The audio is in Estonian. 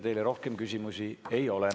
Teile rohkem küsimusi ei ole.